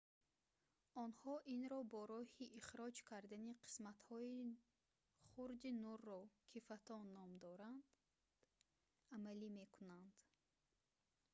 онҳо инро бо роҳи ихроҷ кардани қисматҳои хурди нурро ки фотон ном дорад амалӣ мекунанд